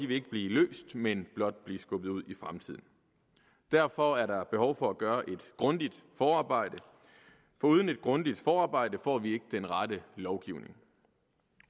vil ikke blive løst men blot blive skubbet ud i fremtiden og derfor er der behov for at gøre et grundigt forarbejde for uden et grundigt forarbejde får vi ikke den rette lovgivning